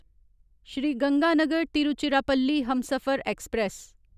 Shri Ganganagar Tiruchirappalli Humsafar express